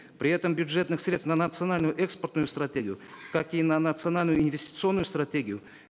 при этом бюджетных средств национальную экспортную стратегию как и на национальную инвестиционную стратегию